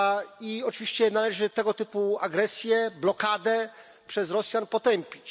I oczywiście należy tego typu agresję, blokadę przez Rosjan potępić.